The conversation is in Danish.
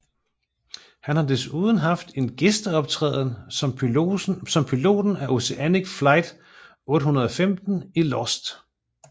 Han har desuden haft en gæsteoptræden som piloten af Oceanic Flight 815 i Lost